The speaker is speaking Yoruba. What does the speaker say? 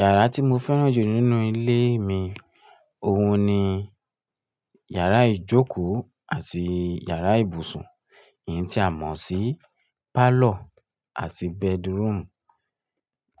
Yàrá tí mo fẹ́ràn jù nínú ilé mi, òun ni yàrá ìjókòó àti yàrá ìbùsùn, èyí tí a mọ̀ sí parlour àti bedroom.